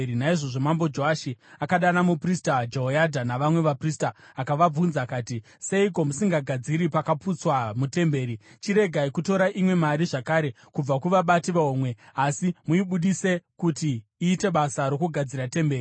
Naizvozvo Mambo Joashi akadana muprista Jehoyadha navamwe vaprista akavabvunza akati, “Seiko musingagadziri pakaputsika mutemberi? Chiregai kutora imwe mari zvakare kubva kuvabati vehomwe, asi muibudise kuti iite basa rokugadzira temberi.”